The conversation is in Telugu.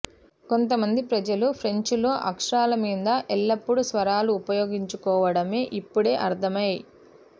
కొంతమంది ప్రజలు ఫ్రెంచ్లో అక్షరాల మీద ఎల్లప్పుడూ స్వరాలు ఉపయోగించుకోవడమే ఇప్పుడే అర్ధమే